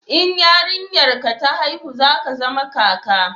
in yarinyar ka ta haihu za ka zama kaka